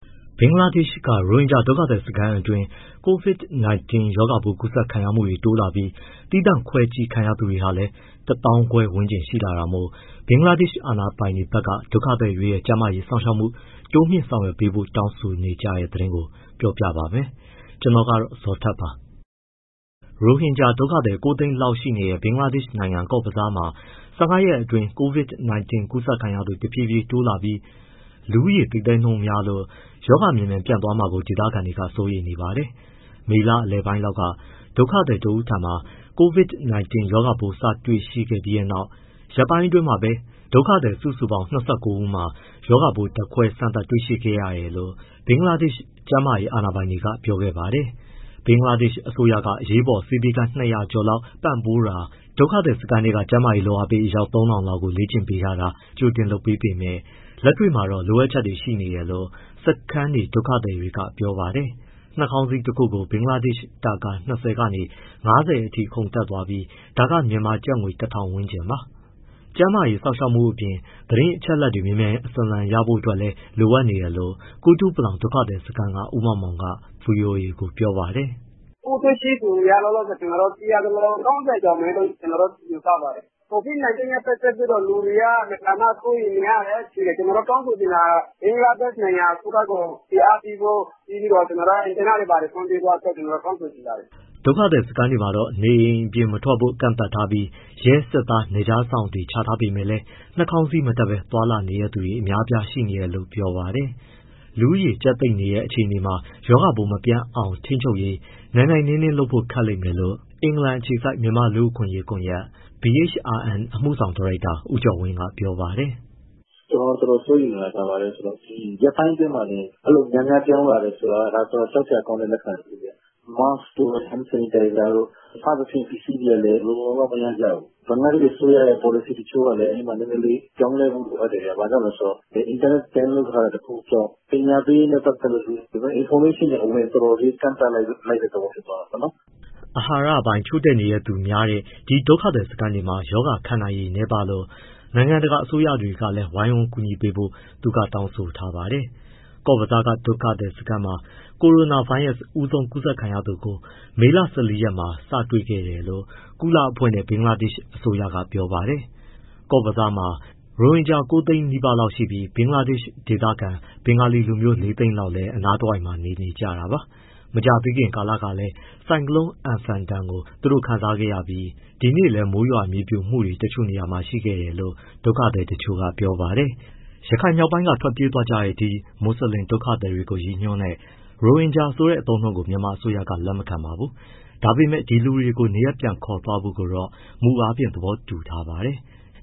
ဘင်္ဂလားဒေ့ရ်ှက ရိုဟင်ဂျာဒုက္ခသည်စခန်းအတွင်း COVID-19 ရောဂါပိုးကူးစက်ခံရမှုတွေတိုးလာပြီး၊ သီးသန့်ခွဲစောင့်ကြည့်ခံရသူဟာလည်း ၁၅,၀၀၀ ဝန်းကျင် ရှိလာတာမို့ ဘင်္ဂလားဒေ့ရ်ှအာဏာပိုင်တွေဘက်က ဒုက္ခသည်တွေရဲ့ကျန်းမာရေးစောင့်ရှောက်မှု တိုးမြှင့်ဆောင်ရွက်ပေးဖို့ တောင်းဆိုနေကြတဲ့သတင်း ပြောပြပါမယ်။ ဒီအကြောင်း ဗွီအိုအေမြန်မာပိုင်းသတင်းထောက် ကိုဇော်ထက်က တင်ပြပေးပါမယ်။ ရိုဟင်ဂျာဒုက္ခသည် ၉၀၀,၀၀၀ လောက်ရှိနေတဲ့ ဘင်္ဂလားဒေ့ရှ်နိုင်ငံ ကော့ဘဇားမှာ ၁၅ ရက်အတွင်း COVID-19 ကူးစက်ခံရသူ တဖြည်းဖြည်းတိုးလာပြီး လူဦးရေသိပ်သည်းနှုန်းများလို့ ရောဂါမြန်မြန်ပြန့်သွားမှာကို ဒေသခံတွေက စိုးရိမ်နေပါတယ်။ မေလ လယ်ပိုင်းလောက်က ဒုက္ခသည်တဦးထံမှာ COVID-19 ရောဂါပိုး စ တွေ့ရှိခဲ့တဲ့နောက် ရက်ပိုင်းအတွင်းမှာပဲ ဒုက္ခသည်စုစုပေါင်း ၂၉ ဦးမှာ ရောဂါပိုး ဓါတ်ခွဲစမ်းသပ်တွေ့ခဲ့တယ်လို့ ဘင်္ဂလားဒေ့ရ်ှ ကျန်းမာရေးအာဏာပိုင်တွေက ပြောခဲ့ပါတယ်။ ဘင်္ဂလားဒေ့ရှ်အစိုးရက အရေးပေါ်ဆေးပေးခန်း ၂၀၀ ကျော်လောက် ပံ့ပိုးပေးတာ၊ ဒုက္ခသည်စခန်းထဲက ကျန်းမာရေး လုပ်အားပေး အယောက် ၃,၀၀၀ လောက်ကို လေ့ကျင့်ပေးထားတာ ကြိုတင်လုပ်ပေးပေမဲ့ လက်တွေ့မှာတော့ လိုအပ်ချက်တွေရှိနေတယ်လို့ စခန်းနေ ဒုက္ခသည်တွေက ပြောပါတယ်။ နှာခေါင်းစည်းတခုကို ဘင်္ဂလားငွေ တာကာ ၂၀ ကနေ ၅၀ အထိခုန်တက်သွားပြီး ဒါက မြန်မာကျပ်ငွေ ၁,၀၀၀ ဝန်းကျင်ပါ။ ကျန်းမာရေးစောင့်ရှောက်မှုအပြင် သတင်းအချက်အလက်တွေ မြန်မြန်ဆန်ဆန်ရရှိဖို့လည်း လိုနေတယ်လို့ ကုတုပလောင် ဒုက္ခသည်စခန်းက ဦးမောင်မောင်က VOA ကို ပြောပါတယ်။ “ပိုးတွေ့ရှိသူက လောလောဆယ်သိရသလောက် ၃၀ ကျော်မယ်လို့ ယူဆပါတယ်။ COVID-19 နဲ့ ပတ်သက်လို့ လူတွေက အင်မတန်မှ စိုးရိမ်နေရတယ်။ ကျနော်တို့ တောင်းဆိုချင်တာက ဘင်္ဂလားဒေ့ရှ်နိုင်ငံ အစိုးရကို ဖိအားပေးဖို့၊ အင်တာနက်တွေ ဖွင့်ပေးဖို့ တောင်းဆိုချင်ပါတယ်။” ဒုက္ခသည်စခန်းတွေမှာတော့ နေအိမ်အပြင်မထွက်ဖို့ ကန့်သတ်ပြီး ရဲ၊ စစ်သား၊ နယ်ခြားစောင့်တွေ ချထားပေမဲ့လည်း၊ နှာခေါင်းစည်း မတပ်ဆင်ဘဲ သွားလာနေတဲ့သူတွေ အများအပြားရှိနေတယ်လို့ ပြောပါတယ်။ လူဦးရေ ကြပ်သိပ်နေတဲ့ အခြေအနေမှာ ရောဂါပိုးမပြန့်အောင်ထိန်းချုပ်ရေး နိုင်နိုင်နင်းနင်း လုပ်ဖို့ခက်ခဲလိမ့်မယ်လို့ အင်္ဂလန်အခြေစိုက် မြန်မာ့လူ့အခွင့်အရေးကွန်ယက် BHRN အမှုဆောင်ဒါရိုက်တာ ဦးကျော်ဝင်းက ပြောပါတယ်။ “ကျနော် တော်တော်စိုးရိမ်နေတာ ဘာလဲဆိုတော့ ဒီရက်ပိုင်းအတွင်းမှာတင် အဲဒီလို များများပြောင်းလာတာ တော်တော်ကြောက်စရာကောင်းတဲ့ လက္ခဏာ တခုဗျ။ Mask တို့ hand sanitizer တို့ စသဖြင့် ပစ္စည်းတွေကလည်း လုံလုံလောက်လောက် မရကြဘူး။ ဘင်္ဂလားဒေ့ရှ် အစိုးရရဲ့ ပေါ်လစီတချို့ကလည်း ပြောင်းလဲမှု လိုအပ်တယ်ဗျ။ ဘာလို့ဆို အင်တာနက် ပိတ်ထားတာ တခုကြောင့် ပညာပေးရေးနဲ့ ပတ်သက်လို့ information တွေက ကန့်သတ်လိုက်တဲ့ သဘော ဖြစ်သွားတာပေါ့။” အာဟာရပိုင်း ချို့တဲ့နေတဲ့သူတွေများတဲ့ ဒီ ဒုက္ခသည်စခန်းတွေမှာ ရောဂါခံရနိုင်ရည်နည်းပါးလို့ နိုင်ငံတကာ အစိုးရတွေကလည်း ဝိုင်းဝန်းကူညီပေးဖို့ သူက တောင်းဆိုထားပါတယ်။ ကော့ဘဇားက ဒုက္ခသည်စခန်းမှာ Corona ဗိုင်းရပ်စ် ဦးဆုံးကူးစက်ခံရသူကို မေလ ၁၄ ရက်မှာ စတွေ့ခဲ့တယ်လို့ ကုလအဖွဲ့နဲ့ ဘင်္ဂလားဒေ့ရှ် အစိုးရက ပြောပါတယ်။ ကော့ဘဇားမှာ ရိုဟင်ဂျာ ၉၀၀,၀၀၀ နီးပါးရှိပြီး ဘင်္ဂလားဒေ့ရှိဒေသခံ ဘင်္ဂလီလူမျိုး ၄၀၀,၀၀၀ လောက်လည်း အနားတဝိုက်မှာ နေထိုင်ကြတာပါ။ မကြာသေးခင်ကလည်း ဆိုင်ကလုံး Amphan ဒဏ်ကို သူတို့ခံစားခဲ့ရပြီး ဒီနေ့လည်း မိုးရွာ မြေပြိုမှုတွေ တချို့နေရာတွေမှာ ရှိခဲ့တယ်လို့ ဒုက္ခသည်တချို့က ပြောပါတယ်။ ရခိုင်မြောက်ပိုင်းကနေ ထွက်ပြေးသွားကြတဲ့ ဒီ မွတ်ဆလင်ဒုက္ခသည်တွေကို ရည်ညွှန်းတဲ့ ရိုဟင်ဂျာဆိုတဲ့ အသုံးအနှုန်းကို မြန်မာအစိုးရက လက်မခံပါဘူး။ ဒါပေမဲ့ ဒီလူတွေကို နေရပ်ပြန်ခေါ်သွားဖို့ကိုတော့ မူအားဖြင့် သဘောတူထားပါတယ်။